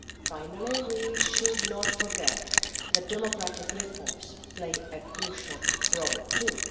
Finally, we should not forget that democratic reforms play a crucial role too.